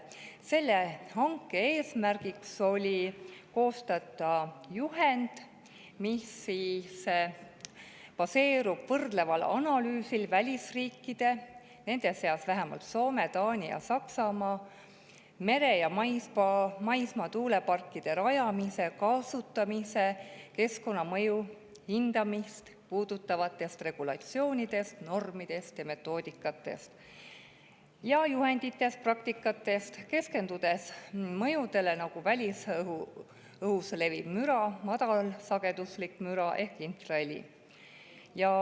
Selle hanke eesmärk oli koostada juhend, mis baseerub võrdleval analüüsil välisriikide – nende seas on vähemalt Soome, Taani ja Saksamaa – mere‑ ja maismaatuuleparkide rajamise ja kasutamise keskkonnamõju hindamist puudutavate regulatsioonide, normide, metoodikate, juhendite ja praktika kohta, keskendudes sellistele mõjudele nagu välisõhus leviv müra ja madalsageduslik müra, sealhulgas infraheli.